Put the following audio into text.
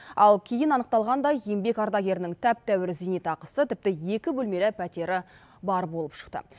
ал кейін анықталғандай еңбек ардагерінің тәп тәуір зейнетақысы тіпті екі бөлмелі пәтері бар болып шықты